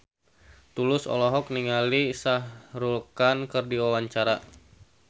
Tulus olohok ningali Shah Rukh Khan keur diwawancara